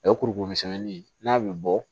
O ye kurukuru misɛnni ye n'a bɛ bɔ